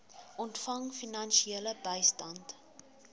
ontvang finansiële bystand